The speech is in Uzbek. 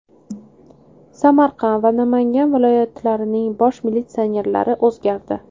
Samarqand va Namangan viloyatlarining bosh militsionerlari o‘zgardi.